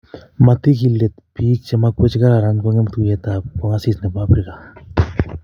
Matiki let bik chemamakwech che kararan kongem tuyet ap kongasis nebo Afrika